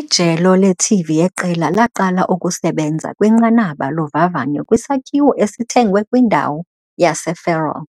Ijelo leTV yeqela laqala ukusebenza kwinqanaba lovavanyo kwisakhiwo esithengwe kwindawo yaseFarol,